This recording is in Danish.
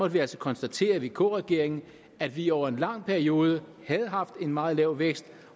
vi altså konstatere i vk regeringen at vi over en lang periode havde haft en meget lav vækst